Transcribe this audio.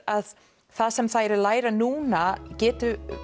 að það sem þær læra núna geta